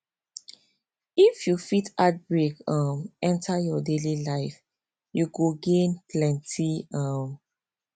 if you fit add break um enter your daily life you go gain plenty um